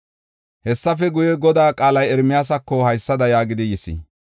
Hessafe guye, Godaa qaalay Ermiyaasako haysada yaagidi yis: